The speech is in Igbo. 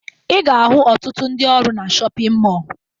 Ị ga-ahụ ọtụtụ ndị ọrụ na shọpịn mọọ